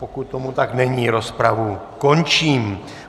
Pokud tomu tak není, rozpravu končím.